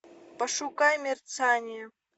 пошукай мерцание